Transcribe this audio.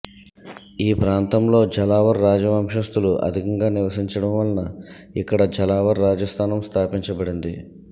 ఈ ప్రాంతంలో ఝలావర్ రాజవంశస్థులు అధికంగా నివసించడం వలన ఇక్కడ ఝలావర్ రాజాస్థానం స్థాపించబడింది